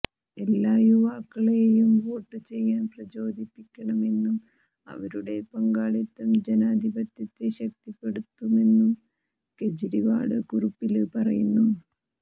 എല്ലാ യുവക്കളെയും വോട്ടുചെയ്യാൻ പ്രചോദിപ്പിക്കണമെന്നും അവരുടെ പങ്കാളിത്തം ജനാധിപത്യത്തെ ശക്തിപ്പെടുത്തുമെന്നും കേജരിവാള് കുറിപ്പില് പറയുന്നു